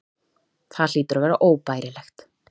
Það hlýtur að vera óbærilegt.